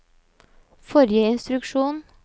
forrige instruksjon